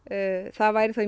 það væri þá